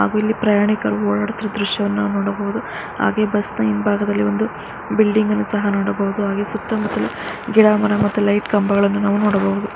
ಅಲ್ಲಿ ಪ್ರಯಾಣಿಕರು ಓಡಾಡುತ್ತಿರುವ ದೃಶ್ಯವನ್ನು ನಾವು ನೋಡಬಹುದು ಹಾಗೆ ಬಸ್ ನ ಹಿಂಭಾಗಲ್ಲಿ ಒಂದು ಬಿಲ್ಡಿಂಗ್ ಅನ್ನು ಸಹ ನೋಡಬಹುದು ಗಿಡ ಮರ ಮತ್ತು ಲೇಟ್ ಕಂಬಗಳನ್ನ ನಾವು ಕಾಣಬಹುದು.